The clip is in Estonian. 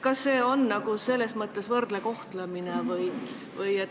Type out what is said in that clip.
Kas see on selles mõttes võrdne kohtlemine?